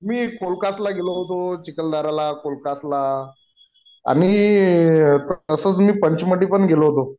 मी कोलकस ला चिखलदरा ला कोलकसला आणि तसाच मी पंचमढी पण गेलो होतो